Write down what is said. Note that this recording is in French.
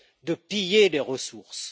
de piller les ressources.